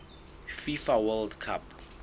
fifa world cup